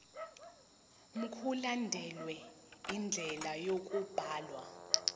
mkulandelwe indlela yokubhalwa